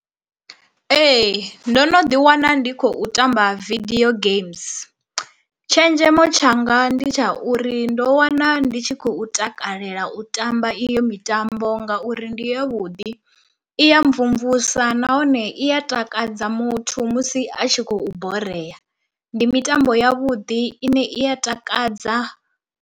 Ee ndo no ḓi wana ndi khou tamba video games. Tshenzhemo tshanga ndi tsha uri ndo wana ndi tshi khou takalela u tamba iyo mitambo ngauri ndi yavhuḓi i ya mvumvusa nahone iya takadza muthu musi a tshi khou borea, ndi mitambo ya vhuḓi ine i ya takadza.